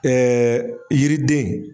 yiriden